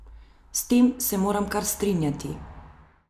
S tem se moram kar strinjati.